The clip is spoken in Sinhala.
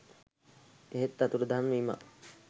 එහෙත් අතුරුදන් වීමක්